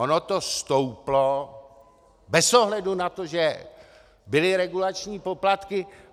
Ono to stouplo bez ohledu na to, že byly regulační poplatky.